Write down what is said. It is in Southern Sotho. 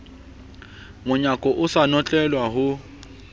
monyako o sa notlelwa ho